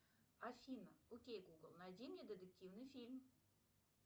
афина окей гугл найди мне детективный фильм